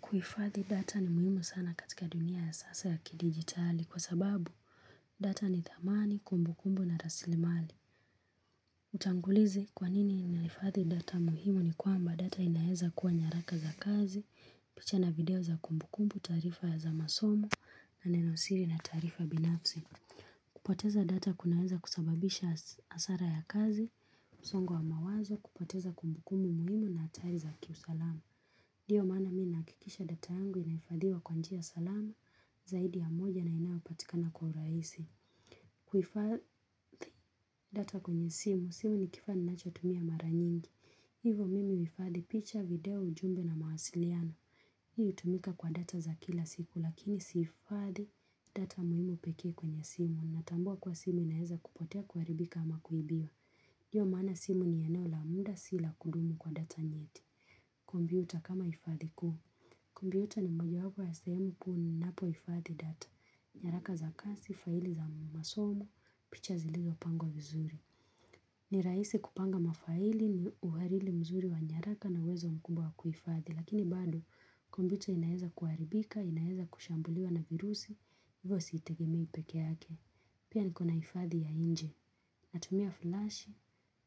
Kuifadhi data ni muhimu sana katika dunia ya sasa ya kidigitali kwa sababu data ni thamani, kumbu kumbu na rasili mali. Utangulizi kwa nini naifadhi data muhimu ni kwamba data inaeza kuwa nyaraka za kazi, picha na video za kumbu kumbu, taarifa ya za masomo na nenosiri na tarifa binafsi. Kupoteza data kunaeza kusababisha asara ya kazi, msongo wa mawazo, kupoteza kumbu kumbu muhimu na atari za kiusalama. Dio mana mi nahakikisha data yangu inaifadhiwa kwa njia salama zaidi ya moja na inayopatikana kwa uraisi. Kuifadhi data kwenye simu, simu ni kifaa ninachotumia mara nyingi. Hivo mimi huifadhi picha video ujumbe na mawasiliano. Hii hutumika kwa data za kila siku lakini siifadhi data muhimu pekee kwenye simu. Natambua kuwa simu inaeza kupotea kuaribika ama kuibiwa. Dio maana simu ni eneo la muda si la kudumu kwa data nyeti. Kombyuta kama ifadhi kuu. Kumbyuta ni moja wapo ya sehemu kuu ni napohifadhi data, nyaraka za kasi, faili za masomo, picha zilizopangwa vizuri. Ni raisi kupanga mafaili ni uharili mzuri wa nyaraka na uwezo mkubwa wa kuifadhi, lakini bado kompyuta inaeza kuharibika, inaeza kushambuliwa na virusi, hivyo siitegemei peke yake. Pia nikona ifadhi ya inje. Natumia flash.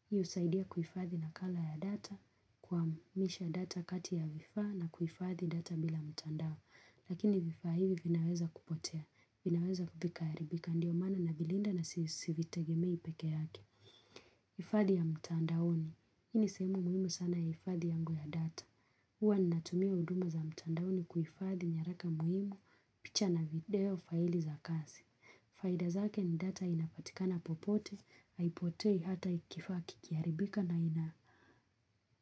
Hiyo husaidia kuifadhi nakala ya data kuhamisha data kati ya vifaa na kuifadhi data bila mtandao. Lakini vifaa hivi vinaweza kupotea. Vinaweza vikaharibika. Ndiyo maana na vilinda na sivitegemei peke yake. Ifadhi ya mtandaoni. Hii ni sehemu muhimu sana ya ifadhi yangu ya data. Uwa natumia huduma za mtandaoni kuifadhi nyaraka muhimu picha na video faili za kasi. Faida zake ni data inapatika na popote, haipotei hata ikifaa kikiaribika na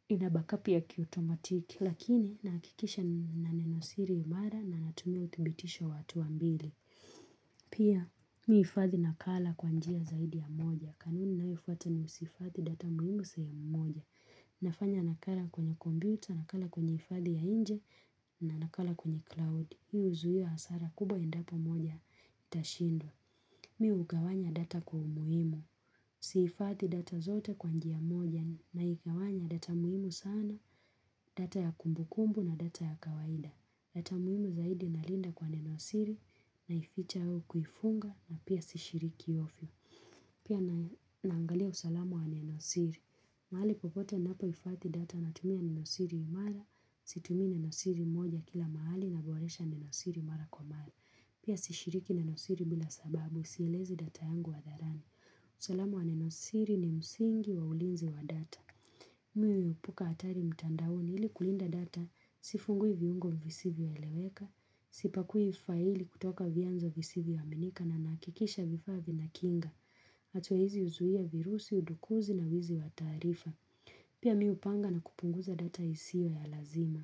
inabakapia kiautomatiki. Lakini nahakikisha nina nenosiri imara na natumia uthibitisho wa hatua mbili. Pia miifadhi nakala kwanjia zaidi ya moja. Kanuni nayo fuata ni usiifadhi data muhimu sehemu moja. Nafanya nakala kwenye computer, nakala kwenye ifathi ya inje, na nakala kwenye cloud. Hii huzuia hasara kubwa endapo moja itashindwa. Mi ugawanya data kwa umuhimu. Siifadhi data zote kwa njia moja na igawanya data muhimu sana, data ya kumbu kumbu na data ya kawaida. Data muhimu zaidi nalinda kwa nenosiri na ificha au kuifunga na pia sishiriki ofyo. Pia naangalia usalamu wa nenosiri. Mahali popote napohifathi data na tumia nenosiri imara, situmii nenosiri moja kila mahali na boresha nenosiri mara kwa mara. Pia sishiriki nenosiri bila sababu, sielezi data yangu ha dharani. Usalamu wa nenosiri ni msingi wa ulinzi wa data. Mi huepuka atari mtandaoni ili kulinda data, sifungui viungo visivyo eleweka, sipakui faili kutoka vianzo visivyo aminika na nahakikisha vifaa vi na kinga. Atua hizi uzuia virusi, udukuzi na wizi wa taarifa Pia mi hu panga na kupunguza data isio ya lazima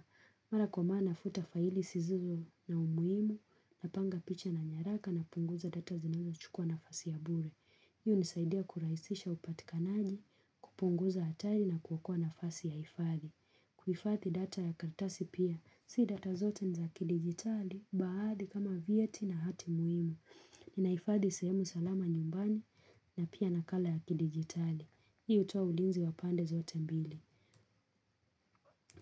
Mara kwa maa nafuta faili sizizo na umuimu Napanga picha na nyaraka na punguza data zinazo chukua nafasi ya bure Hi hunisaidia kuraisisha upatikanaji, kupunguza atari na kuokoa nafasi ya hifadhi kuifadhi data ya karatasi pia, si data zote nizaki digitali, baadhi kama vyeti na hati muhimu Ninaifadhi sehemu salama nyumbani na pia nakala ya kidigitali. Hii utoa ulinzi wa pande zote mbili.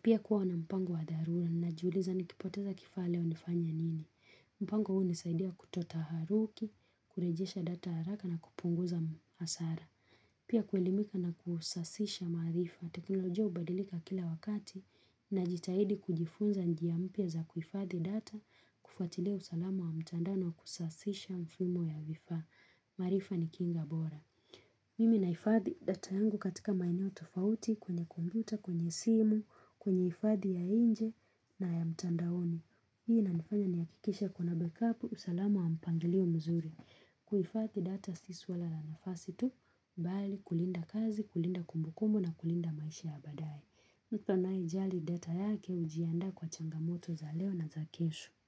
Pia kuwa na mpango wa dharura najiuliza nikipoteza kifaa leo nifanye nini. Mpango huu hunisaidia kutoa ta haruki, kurejesha data haraka na kupunguza hasara. Pia kuelimika na kusasisha maarifa. Teknolojia ubadilika kila wakati na jitahidi kujifunza njia mpya za kuhifadhi data, kufatilia usalama wa mtandao na kusasisha mfumo ya vifaa. Maarifa ni kinga bora mimi naifadhi data yangu katika maeneo tofauti kwenye kombyuta, kwenye simu kwenye ifadhi ya inje na ya mtandaoni hii inanifanya nihakikishe kuna backup usalamu wa mpangilio mzuri kuifathi data si swa la nafasi tu bali kulinda kazi, kulinda kumbukumbu na kulinda maisha ya badae mtu anaye jali data yake hujianda kwa changamoto za leo na za kesho.